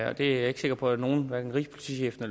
og det er jeg ikke sikker på at nogen hverken rigspolitichefen